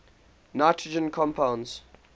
nitrogen compounds